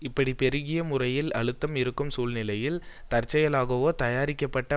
இப்படி பெருகிய முறையில் அழுத்தம் இருக்கும் சூழ்நிலையில் தற்செயலாகவோ தயாரிக்கப்பட்ட